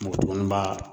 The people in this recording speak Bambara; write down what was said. Mɔɔni b'a